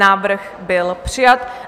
Návrh byl přijat.